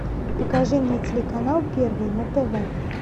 покажи мне телеканал первый на тв